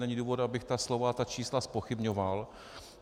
Není důvod, abych ta slova, ta čísla, zpochybňoval.